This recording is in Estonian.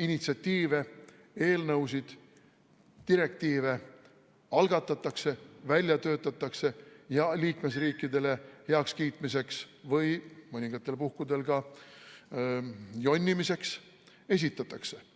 initsiatiive, eelnõusid, direktiive algatatakse, välja töötatakse ja liikmesriikidele heakskiitmiseks või mõningatel puhkudel ka jonnimiseks esitatakse.